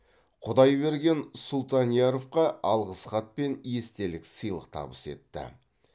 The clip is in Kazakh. құдайберген сұлтанияровқа алғысхат пен естелік сыйлық табыс етті